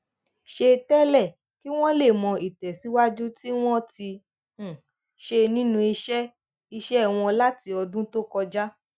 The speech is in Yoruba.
ṣe tẹlẹ kí wọn lè mọ ìtẹsíwájú tí wọn ti um ṣe nínú iṣẹ iṣẹ wọn láti ọdún tó kọjá